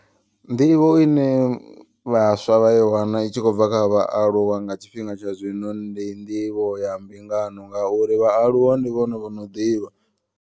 Nḓivho ine vhaswa vha i wana i tshi khou bva kha vhaaluwa nga tshifhinga tsha zwino. Ndi nḓivho ya mbingano ngauri vhaaluwa ndi vhone vhono ḓivha.